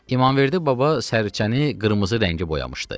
İmamverdi baba Sərçəni qırmızı rəngə boyamışdı.